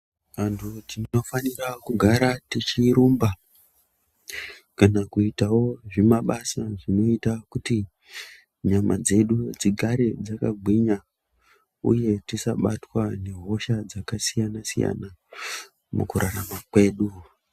Antu tinofanira kugara tichirumba kana kuitawo zvimabasa zvinoita kuti nyama dzedu dzigare dzakagwinya uye tisabatwe ngehosha dzakasiyana siyana mukurarama kwedu.